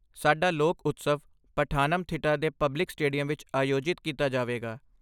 ਸਾਡਾ ਲੋਕ ਉਤਸਵ ਪਠਾਨਮਥਿੱਟਾ ਦੇ ਪਬਲਿਕ ਸਟੇਡੀਅਮ ਵਿੱਚ ਆਯੋਜਿਤ ਕੀਤਾ ਜਾਵੇਗਾ।